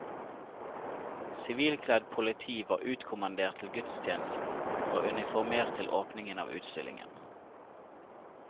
Sivilkledd politi var utkommandert til gudstjenesten, og uniformert til åpningen av utstillingen.